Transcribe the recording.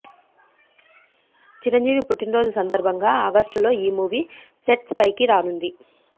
చిరంజీవి పుట్టిన రోజు సందర్బంగా ఆగస్టు లో ఈ మూవీ సెట్స్ ఫైకి రానుంది